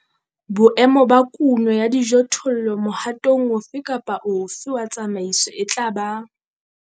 Boemo ba kuno ya dijothollo mohatong ofe kapa ofe wa tsamaiso e tla ba.